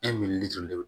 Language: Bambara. joli de don